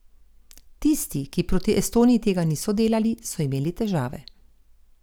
Tisti, ki proti Estoniji tega niso delali, so imeli težave.